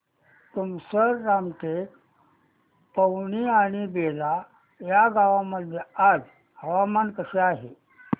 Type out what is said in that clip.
तुमसर रामटेक पवनी आणि बेला या गावांमध्ये आज हवामान कसे आहे